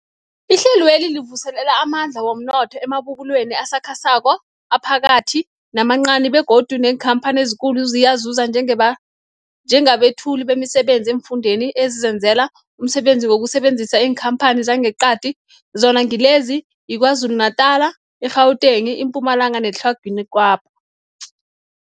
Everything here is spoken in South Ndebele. Ihlelweli livuselela amandla womnotho emabubulweni asakhasako, aphakathi namancani begodu neenkhamphani ezikulu ziyazuza njengabethuli bemisebenzi eemfundeni ezizenzela umsebenzi ngokusebenzisa iinkhamphani zangeqadi, zona ngilezi, yiKwaZulu Natala, i-Gauteng, iMpumalanga neTlhagwini Kapa.